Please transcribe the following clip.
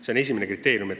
See on esimene kriteerium.